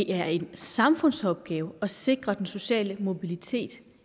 er en samfundsopgave at sikre den sociale mobilitet